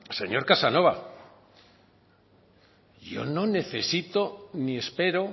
señor casanova yo no necesito ni espero